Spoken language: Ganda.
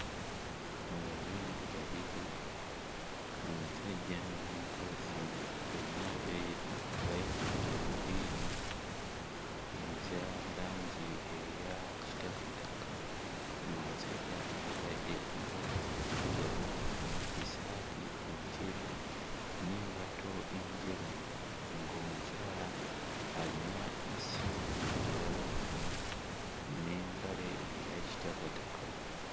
Abazungu babiri, omusajja n'omukazi bonna beeru bayina enviiri eza langi eya kitakataka, ng'omusajja ayambadde empale enzirugavu, essaati enjeru n'engatto enjeru, ng'omukyala alina essimu mu ngalo n'empale eya kitakataka.